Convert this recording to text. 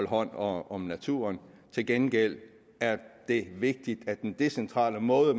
hånd om naturen til gengæld er det vigtigt at den decentrale måde